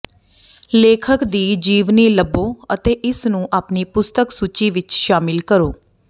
ਲੇਖਕ ਦੀ ਜੀਵਨੀ ਲੱਭੋ ਅਤੇ ਇਸਨੂੰ ਆਪਣੀ ਪੁਸਤਕ ਸੂਚੀ ਵਿੱਚ ਸ਼ਾਮਿਲ ਕਰੋ